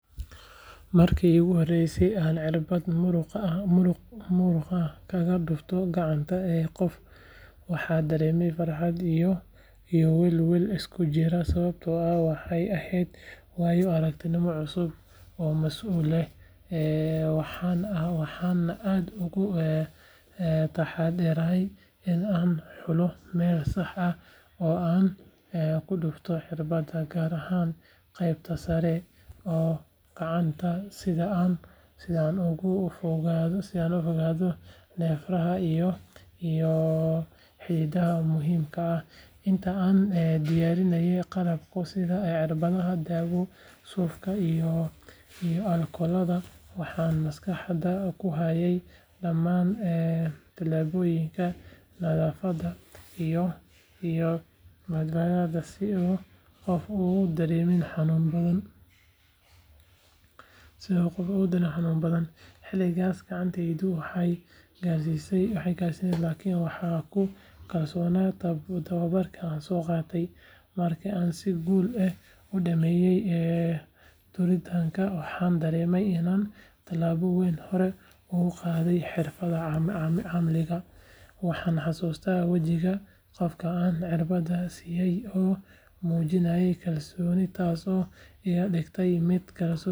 Markii iigu horreysay ee aan cirbad muruqa ah kaga dhufto gacanta qof waxaan dareemay farxad iyo welwel isku jira sababtoo ah waxay ahayd waayo-aragnimo cusub oo mas’uuliyad leh. Waxaan aad uga taxaddarayay in aan xulo meel sax ah oo aan ku dhufto cirbadda gaar ahaan qaybta sare ee gacanta si aan uga fogeeyo neerfaha iyo xididdada muhiimka ah. Inta aan diyaarinayay qalabka sida cirbadda, daawada, suufka iyo aalkolada waxaan maskaxda ku hayay dhammaan talaabooyinka nadaafadda iyo badbaadada si uu qofka u dareemin xanuun badan. Xilligaas gacantaydu way gariiraysay laakiin waxaan ku kalsoonaa tababarkii aan soo qaatay. Markii aan si guul leh u dhammeeyay duritaanka waxaan dareemay inaan tallaabo weyn hore u qaaday xirfaddayda caafimaad. Waan xasuustaa wejiga qofka aan cirbadda siiyay oo muujinayay kalsooni taasoo iga dhigtay mid kalsooni dheeraad ah yeesha. Waxa ay ahayd waayo-aragnimo aan waligay illoobi doonin oo iga dhigtay qof diyaar u ah daryeelka bukaanka.